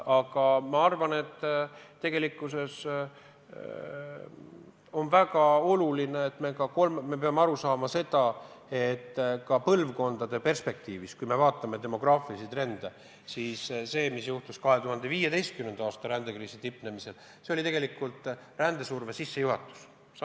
Aga ma arvan, et tegelikkuses me peame aru saama, et tulevasi põlvkondi silmas pidades, kui me vaatame demograafilisi trende, siis see, mis juhtus 2015. aasta rändekriisi tipus, oli tegelikult rändesurve sissejuhatus.